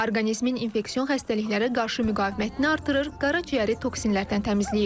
Orqanizmin infeksion xəstəliklərə qarşı müqavimətini artırır, qaraciyəri toksinlərdən təmizləyir.